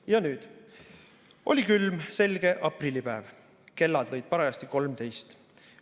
Ja nüüd: "Oli külm selge aprillipäev, kellad lõid parajasti kolmteist.